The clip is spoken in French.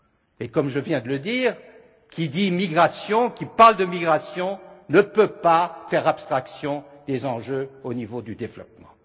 Et comme je viens de le dire, qui dit migration, qui parle de migration, ne peut pas faire abstraction des enjeux au niveau du développement.